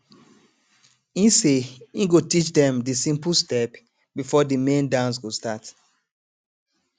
e say e go teach dem de simple step before the main dance go start